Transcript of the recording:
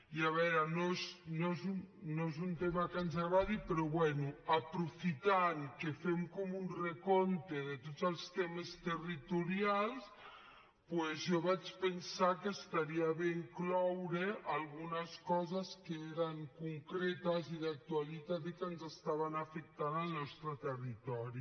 i a veure no és un tema que ens agradi però bé aprofitant que fem com un recompte de tots els temes territorials doncs jo vaig pensar que estaria bé incloure algunes coses que eren concretes i d’actualitat i que ens estaven afectant al nostre territori